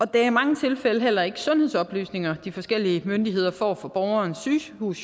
det er i mange tilfælde heller ikke sundhedsoplysninger de forskellige myndigheder får fra borgerens sygehus